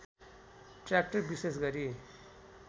tractor विशेष गरी